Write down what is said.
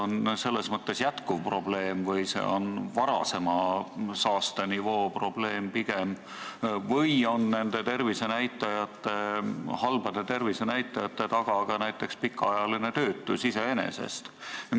Kas see on jätkuv probleem või on see pigem varasema saastenivoo probleem või on nende halbade tervisenäitajate taga ka näiteks pikaajaline töötus iseenesest?